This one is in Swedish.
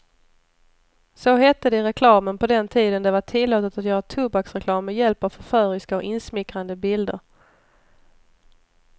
Så hette det i reklamen på den tiden det var tillåtet att göra tobaksreklam med hjälp av förföriska och insmickrande bilder.